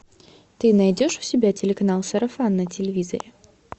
ты найдешь у себя телеканал сарафан на телевизоре